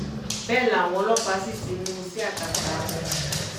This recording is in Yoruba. bẹ́ẹ̀ làwọn ọlọ́pàá sì ti mú un sí akátá wọn